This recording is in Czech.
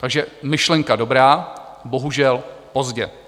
Takže myšlenka dobrá, bohužel pozdě.